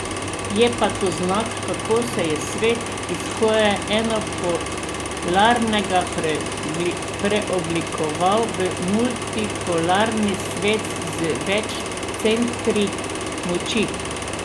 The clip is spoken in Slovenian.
Je pa to znak, kako se je svet iz skoraj enopolarnega preoblikoval v multipolarni svet z več centri moči.